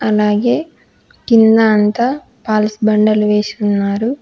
అలాగే కింద అంతా పాలిస్ బండలు వేసి ఉన్నారు.